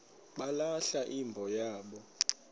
balahla imbo yabo